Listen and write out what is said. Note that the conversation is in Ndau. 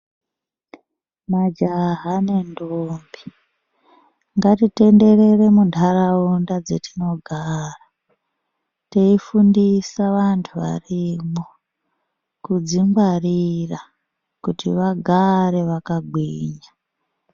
Majaha nendombi ngatitenderere muntaraunda dzetinogara teifundisa vantu varimwo kudzingwarira kuti vagare vakagwinya.